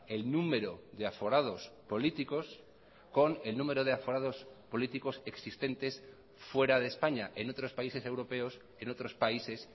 el número de aforados políticos con el número de aforados políticos existentes fuera de españa en otros países europeos en otros países